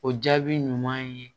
O jaabi ɲuman ye